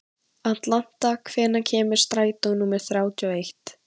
Atlanta, hvenær kemur strætó númer þrjátíu og eitt?